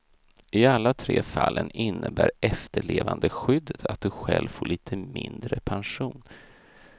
I alla tre fallen innebär efterlevandeskyddet att du själv får lite mindre pension.